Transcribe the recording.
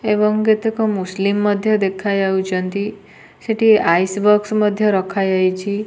ଏବଂ କେତେକ ମୁସଲିମ ମଧ୍ୟ ଦେଖାଯାଉଚନ୍ତି ସେଠି ଆଇସି ବାକ୍ସ ମଧ୍ୟ ରଖାଯାଇଛି।